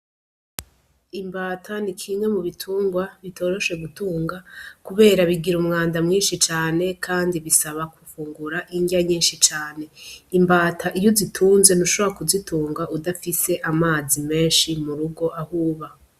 Imbata ni kimwe mu bitungwa bitoroshe gutunga kubera bigira umwanda mwinshi cane, kandi bisaba gufungura indya nyinshi cane. Imbata iyo uzitunze, ntushobora kuzitunga udafise amazi menshi mu rugo, aho uba.